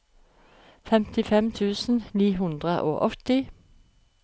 femtifem tusen ni hundre og åtti